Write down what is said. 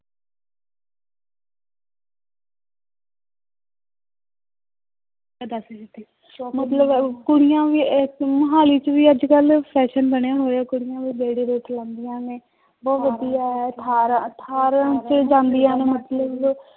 ਮਤਲਬ ਕੁੜੀਆਂ ਵੀ ਇੱਥੇ ਮੁਹਾਲੀ ਚ ਵੀ ਅੱਜ ਕੱਲ੍ਹ fashion ਬਣੇ ਹੋਏ ਆ ਕੁੜੀਆਂ ਵੀ ਲਾਉਂਦੀਆਂ ਨੇ, ਬਹੁਤ ਵਧੀਆ ਹੈ ਅਠਾਰਾਂ ਅਠਾਰਾਂ ਚ ਜਾਂਦੀਆਂ ਨੇ ਮਤਲਬ